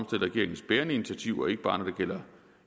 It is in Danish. regeringens bærende initiativer ikke bare når det gælder